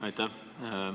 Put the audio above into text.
Aitäh!